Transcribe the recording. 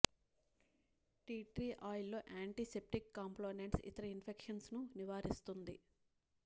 tea tree ఆయిల్లో antiseptic components ఇతర infections ను నివారిస్తుంది